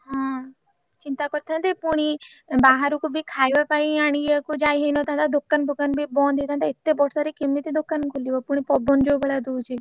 ହଁ ଚିନ୍ତା କରିଥାନ୍ତେ ଫୁଣି ବାହାରକୁ ବି ଖାଇବା ପାଇଁ ଆଣିଆକୁ ଯାଇ ହେଇନଥାନ୍ତା ଦୋକାନ ଫୋକାନ ବି ବନ୍ଦ ହେଇଥାନ୍ତା ଏତେ ବର୍ଷାରେ କେମିତି ଦୋକାନ ଖୋଲିବ ଫୁଣି ପବନ ଯୋଉ ଭଳିଆ ଦଉଛି।